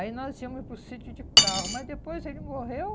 Aí nós íamos para o sítio de carro, mas depois ele morreu.